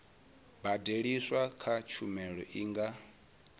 badeliswaho kha tshumelo i nga